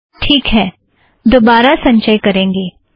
ठीक है दोबारा संचय करेंगें